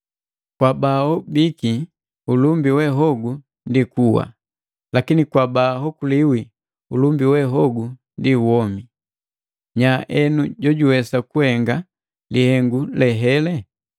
Kwa baaobiki ulumba we hogu ndi kuwa, lakini kwa baaokoliwi ulumba we hogu ndi womi. Nya eno, jojuwesa kuhenga lihengu le hele?